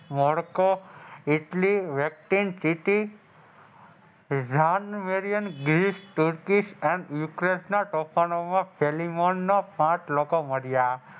મોકળો ઇટલી વેકટીન સીટી ઇઝાન વેલીએસ ગીલીસ તુર્કીસ અને ઉકેન ના તોફાનો માં ફેલીમોન નો પાંચ લોકો મર્યા,